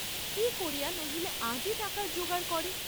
কি করিয়া নহিলে আজই টাকার জোগাড় করে।